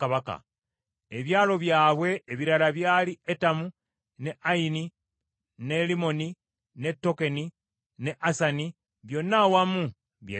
Ebyalo byabwe ebirala byali Etamu, ne Ayini, ne Limmoni, ne Tokeni ne Asani, byonna awamu by’ebitaano,